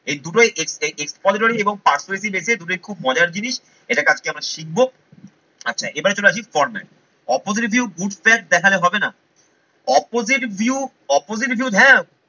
এই দুটোই ex expository এবং persuasive essay এতে দুটোই খুব মজার জিনিস এটাকে আজকে আমরা শিখবো আচ্ছা এবারে চলে আসি format. Opposite view good fact দেখালে হবে না। Opposite view, Opposite view হ্যা